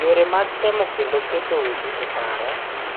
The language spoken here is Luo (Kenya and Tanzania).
Yore mag temo kendo keto weche e paro